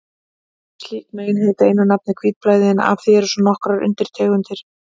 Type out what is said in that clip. Slík mein heita einu nafni hvítblæði, en af því eru svo nokkrar undirtegundir.